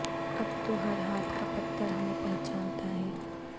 اب تو ہر ہاتھ کا پتھر ہمیں پہچانتا ہے